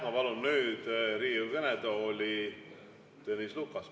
Ma palun nüüd Riigikogu kõnetooli Tõnis Lukase.